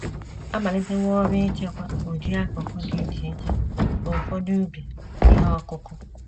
A malitewo ọrụ ichekwa ụdị akụ́kụ́ dị iche iche n’ụfọdụ ubi ihe ọkụkụ.